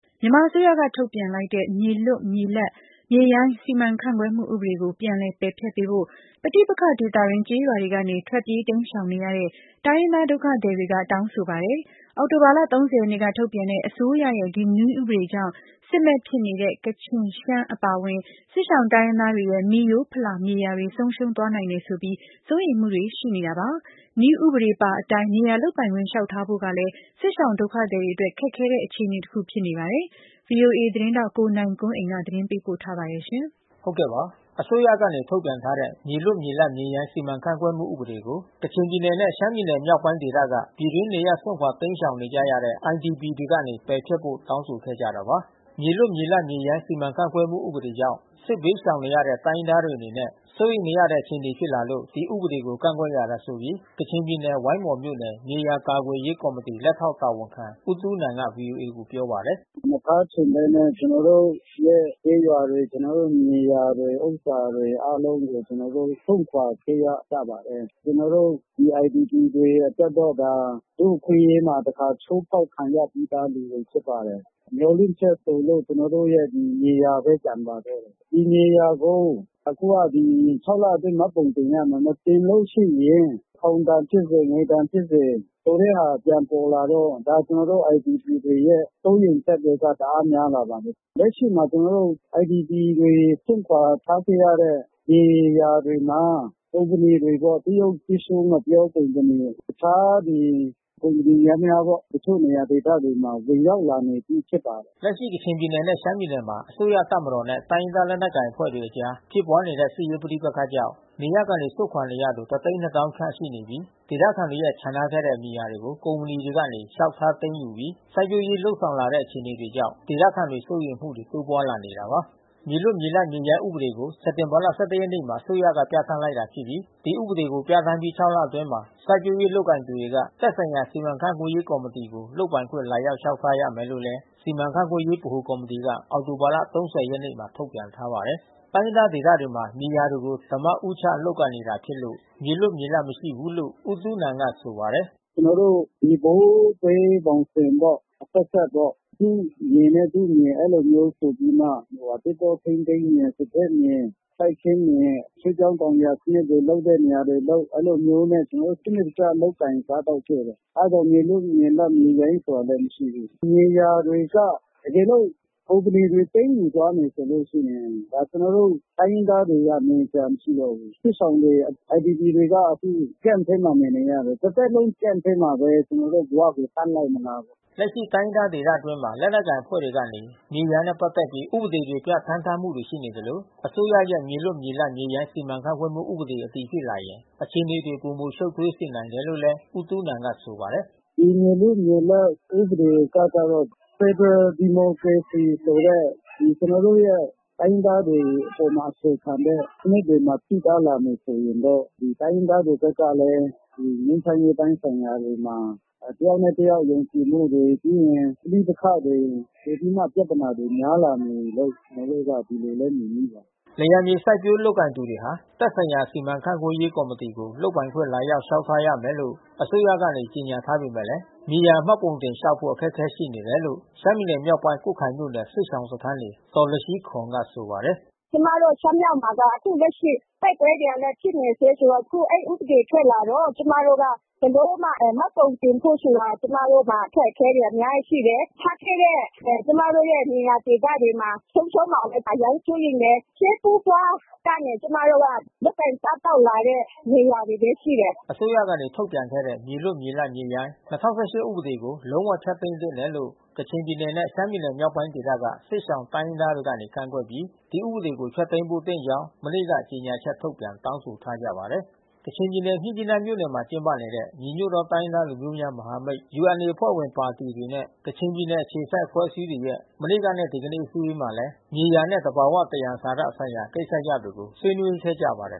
မြန်မာအစိုးရက ထုတ်ပြန်လိုက်တဲ့ မြေလွတ်မြေလပ် မြေရိုင်းစီမံခန့်ခွဲမှု ဥပဒေကို ပြန်လည်ပယ်ဖျက်ပေးဖို့ ပဋိပက္ခ ဒေသတွင်း ကျေးရွာတွေကနေ ထွက်ပြေးတိမ်းရှောင်နေရတဲ့ တိုင်းရင်းသားဒုက္ခသည်တွေက တောင်းဆိုနေပါ တယ်။ အောက်တိုဘာလ ၃၀ ရက်န့က ထုတ်ပြန်တဲ့ အစိုးရရဲ့ ဒီ နည်းဥပဒေကြောင့် စစ်မက်ဖြစ်နေတဲ့ ကချင် ရှမ်း အပါအဝင် စစ်ရှောင်တိုင်းရင်းသားတွေရဲ့ မိရိုးဖလာမြေယာတွေ ဆုံးရှုံးသွားနိုင်တယ်ဆိုပြီး စိုးရိမ်မှုတွေရှိနေတာပါ။ နည်းဥပဒေပါအတိုင်း မြေယာ လုပ်ပိုင်ခွင့်လျောက်ထားဖို့ဆိုတာကလည်း စစ်ရှောင် ဒုက္ခသည်တွေအတွက် ခက်ခဲတဲ့ အခြေအနေတခုဖြစ်နေပါတယ်။ ဗွီအိုအေ သတင်းထောက် ကိုနိုင်ကွန်းအိန်ကနေ သတင်းပေးပို့ထား ပါတယ်။ အစိုးရကနေထုတ်ပြန်ထားတဲ့ မြေလွတ်မြေလပ်မြေရိုင်းစီမံခန့်ခွဲမှုဥပဒေကို ကချင်ပြည်နယ်နဲ့ရှမ်းပြည်နယ် မြောက် ပိုင်းဒေသက ပြည်တွင်းနေရပ် စွန့်ခွါတိမ်းရှောင်နေကြရတဲ့ IDP တွေကနေ ပယ်ဖျက်ဖို့တောင်းဆိုခဲ့ကြတာပါ။ မြေလွတ်မြေလပ်မြေရိုင်းစီမံခန့်ခွဲမှုဥပဒေကြောင့် စစ်ဘေးရှောင်နေရတဲ့ တိုင်းရင်းသားတွေ အနေနဲ့ စိုးရိမ်နေရတဲ့ အခြေအနေဖြစ်လာလို့ ဒီဥပဒေကို ကန့်ကွက်ရတယ်ဆိုပြီး ကချင်ပြည်နယ် ဝိုင်းမော်မြို့နယ် မြေယာကာကွယ်ရေး ကော်မီတီလက်ထောက်တာဝန်ခံ ဦးတူးနန်ကဗွီအိုအေကိုပြောပါတယ်။ “မထားချင်ဘဲနဲ့ကျွန်တော်တို့ရဲ့ကျေးရွာတွေ ကျွန်တော်တို့ရဲ့မြေယာတွေ ဥစ္စာတွေအားလုံးကို ကျွန်တော်တို့စွန့်ခွါခဲ့ရပါတယ်။ ကျွန်တော်တို့ ဒီIDPတွေ အတွက် တော့ ဒါ လူ့အခွင့်အရေးမှာတခါချိုးဖေါက်ခံရပြီးသား လူတွေဖြစ်ပါတယ်။ မျှော်လင့်ချက် ဆိုလို့ကျွန်တော်တို့ရဲ့ မြေ ယာဘဲကျန်ပါတော့တယ်။ ဒီမြေယာကို အခုတော့ဒီ လ အတွင်း မှတ်ပုံတင်ရမယ်။ မတင်လို့ရှိရင် ထောင်ဒဏ်ဖြစ် စေ ငွေဒဏ်ဖြစ်စေ ဆိုတဲ့ဟာပြန်ပေါ်လာတော့ ကျွန်တော်တို့IDPတွေရဲ့ စိုးရိမ်ချက်တွေ တအား များလာပါတယ်။ လက်ရှိမှာကျွန်တော်တို့IDPတွေစွန့်ခွါထားခဲ့ရတဲ့ မြေယာတွေမှာ ကုမ္ပဏီတွေမှာ တရုတ် ငှက်ပျောပင် ကုမ္ပဏီတွေ တခြားဒီ ကုမ္ပဏီယန္တယားပေါ့။ တချို့နေရာဒေသမှာဝင်ရောက်နေပြီးဖြစ်ပါတယ်။” လက်ရှိကချင်ပြည်နယ်နဲ့ရှမ်းပြည်နယ်မှာ အစိုးရတပ်မတော်နဲ့ တိုင်းရင်းသား လက်နက်ကိုင်အဖွဲ့တွေ အကြား ဖြစ်ပွါးနေတဲ့စစ်ရေးပဋိပက္ခကြောင့် နေရပ်ကနေစွန့်ခွါနေရသူ ခန့်ရှိနေပြီး ဒေသခံတွေရဲ့ချန်ထားခဲ့တဲ့ မြေယာတွေကို ကုမ္ပဏီတွေကနေ လျှောက်ထား သိမ်းယူပြီးစိုက်ပျိုးရေး လုပ်ဆောင်လာတဲ့အခြေအနေကြောင့် ဒေသခံတွေစိုးရိမ်မှုတွေတိုးပွါးလာနေတာပါ။ မြေလွတ်မြေလပ်မြေရိုင်းဥပဒေကို စက်တင်ဘာ ၁၁ ရက်မှာ အစိုးရက ပြဌာန်း လိုက်တာဖြစ်ပြီး ဒီဥပဒေကို ပြဌာန်း ပြီး ၆ လ အတွင်းမှာ စိုက်ပျိုးလုပ်ကိုင်နေသူတွေက သက်ဆိုင်ရာ စီမံခန့်ခွဲရေးကော်မတီကို လုပ်ပိုင်ခွင့် လာရောက် လျှောက်ထားရမယ် လို့လည်း စီမံခန့်ခွဲရေးဗဟိုကော်မတီက အောက်တိုဘာ ၃၀ ရက်မှာ ထုတ်ပြန် ထားပါတယ်။ တိုင်းရင်းသားဒေသတွေမှာ မြေယာတွေကို ဒါးမဦးချလုပ်ကိုင်နေတာဖြစ်လို့ မြေလွတ်မြေလပ်မရှိဘူးလို့ဦးတူးနန် ကဆိုပါတယ်။ “ကျွန်တော်တို့ ဒီဘိုးဘေးဘောင်ဘင်ပေါ့။ အဆက်ဆက်ပေါ့။ သူ့မြေနဲ့ သူမြေအဲဒီလိုမျိုးဆိုပြီးမှ သစ်တော ထိန်းသိမ်း မြေ စားကျက်မြေ စိုက်ပျိုးမြေ ရွှေ့ပြောင်းတောင်ယာစနစ်တွေလုပ်တဲ့နေရာတွေလုပ် အဲဒီလိုမျိုးနဲ့ကျွန်တော်တို့ စနစ် တကျလုပ်ကိုင်စားသောက်ခဲ့တယ်။ အဲဒီတော့မြေလွတ် မြေလပ်မြေရိုင်း ဆိုတာတော့မရှိဘူး။ မြေယာတွေက တကယ် လို့ ကုမ္ပဏီတွေ သိမ်းယူသားမယ်ဆိုလို့ရှိရင် ကျွန်တော်တို့တိုင်းရင်းသားတွေကနေစရာမရှိတော့ဘူး။ စစ်ရှောင်တွေ IDPတွေက အခု camp ထဲမှာနေနေရတယ်။ တသက်လုံးcamp ထဲမှာဘဲ ကျွန်တော်တို့ကို ထားမထားနိုင် မလား ပေါ့။” လက်ရှိတိုင်းရင်းသားဒေသအတွင်းမှာ လက်နက်ကိုင် အဖွဲ့တွေ ကနေ မြေယာနဲ့ ပက်သက်ပြီး ဥပဒေတွေပြဌာန်း ထားမှုတွေရှိနေသလို အစိုးရ ရဲ့မြေလွတ်မြေလပ်မြေရိုင်း စီမံခန့်ခွဲမှု ဥပဒေအတည်ဖြစ်လာရင် အခြေအနေတွေ ပိုမိုရှုပ်ထွေးစေနိုင်တယ်လို့လဲဦးတူးနန်ကဆိုပါတယ်။ “ဒီမြေလွတ်မြေလပ်ဥပဒေထွက်ကတော့ ဖက်ဒရယ်ဒီမိုကရေစီဆိုတဲ့ ကျွန်တော်တို့ရဲ့ တိုင်းရင်းသားတွေ အပေါ်မှာ အခြေခံတဲ့ စနစ်မှာထိပါးလာမယ်ဆိုရင်တော့ ဒီတိုင်းရင်းသားတွေ ဘက်ကလဲ ငြိမ်းချမ်းရေးပိုင်းဆိုင်ရာတွေမှာ တယောက်နဲ့ တယောက်ယုံကြည်မှုတွေ ပြီးရင် ပဋိပက္ခတွေ ပိုပြီးမှပြဿနာတွေများလာမယ်လို့ ကျွန်တော်တို့က ဒီလိုဘဲမြင်မိပါတယ်။” လယ်ယာမြေ စိုက်ပျိုးလုပ်ကိုင်နေသူတွေက သက်ဆိုင်ရာစီမံခန့်ခွဲရေးကော်မတီကို လုပ်ပိုင်ခွင့် လာရောက် လျှောက် ထားရမယ်လို့အစိုးရကနေ ကြေညာထားပေမယ့် မြေယာမှတ်ပုံတင်လျှောက်ထားဖို့ အခက်ခဲ ရှိနေတယ်လို့ ရှမ်းပြည် နယ်မြောက်ပိုင်း ကွတ်ခိုင်မြို့နယ် စစ်ရှောင်စခန်းနေ ဒေါ်လရှီးခေါန်ကဆိုပါတယ်။ “ကျွန်မတို့ရှမ်းမြောက်မှာက အခုလက်ရှိ တိုက်ပွဲတွေလဲဖြစ်နေဆဲဆိုတော့ အခုဥပဒေ ထွက်လာတော့ ကျွန်မတို့က ဘယ်လိုမှမှတ်ပုံတင်ဖို့ဆိုတာ ကျွန်မတို့မှာ အခက်ခဲတွေ အများကြီးရှိတယ်။ ထားခဲ့တဲ့ကျွန်မတို့ရဲ့နေရာဒေသတွေမှာ ဆုံးရှုံးမှာလဲ အရမ်း စိုးရိမ်တယ်။ ရှေးဘိုးဘွားကနေကျွန်မတို့က လုပ်ကိုင်စားသောက် လာတဲ့မြေယာဘဲရှိတယ်။” အစိုးရကနေထုတ်ပြန်ခဲ့တဲ့ မြေလွတ်မြေလပ် မြေရိုင်း ဥပဒေကို လုံးဝဖျက်သိမ်းသင့်တယ်လို့ ကချင်ပြည်နယ်နဲ့ရှမ်းပြည်မြောက်ပိုင်းဒေသက စစ်ရှောင်တိုင်းရင်းသားတွေကနေ ကန့်ကွက်ပြီး ဒီဥပဒေကိုဖျက်သိမ်းသင့် ကြောင်းမနေ့က ကြေညာချက်ထုတ်ပြန်တောင်းဆိုထားကြပါတယ်။ ကချင်ပြည်နယ် မြစ်ကြီးနားမြို့နယ်မှာ ကျင်းပနေတဲ့ ညီညွတ်သော တိုင်းရင်းသားများ လူမျိုးများမဟာမိတ် အဖွဲ့ဝင် ပါတီတွေ နဲ့ကချင်ပြည်နယ် အခြေစိုက်အဖွဲ့အစည်းတွေ ရဲ့ မနေ့ကနဲ့ဒီကနေ့အစည်းဝေးမှာလဲ မြေယာနှင့် သဘာဝသယံဇာတဆိုင်ရာကိစ္စရပ်တွေကိုဆွေးနွေးခဲ့ကြပါတယ်